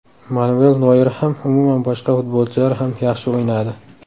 Manuel Noyer ham, umuman boshqa futbolchilar ham yaxshi o‘ynadi.